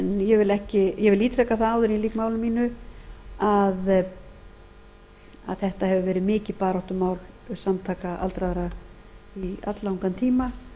ég vil ítreka áður en ég lýk máli mínu að þetta hefur verið mikið baráttumál samtaka aldraðra í alllangan tíma